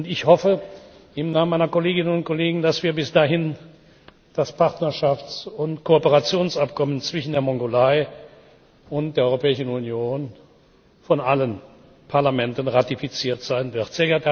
Ich hoffe im Namen meiner Kolleginnen und Kollegen, dass bis dahin das Partnerschafts und Kooperationsabkommen zwischen der Mongolei und der Europäischen Union von allen Parlamenten ratifiziert sein wird.